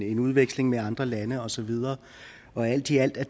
en udveksling med andre lande og så videre og alt i alt er